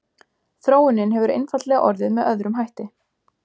þróunin hefur einfaldlega orðið með öðrum hætti